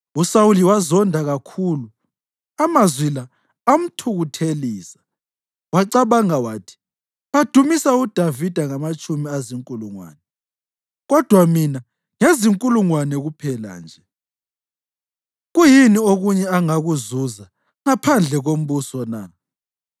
USawuli wazonda kakhulu, amazwi la amthukuthelisa. Wacabanga wathi, “Badumisa uDavida ngamatshumi ezinkulungwane, kodwa mina ngezinkulungwane kuphela nje. Kuyini okunye angakuzuza ngaphandle kombuso na?”